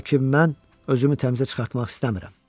Lakin mən özümü təmizə çıxartmaq istəmirəm.